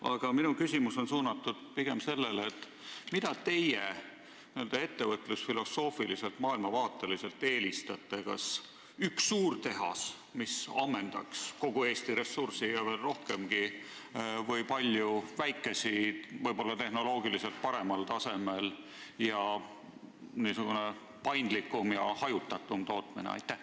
Aga minu küsimus on suunatud pigem sellele, mida teie eelistate n-ö ettevõtlusfilosoofiliselt, maailmavaateliselt: kas ühte suurt tehast, mis ammendaks kogu Eesti ressursi ja veel rohkemgi, või palju väikesi tehaseid ehk võib-olla tehnoloogiliselt paremal tasemel ning paindlikumat ja hajutatumat tootmist?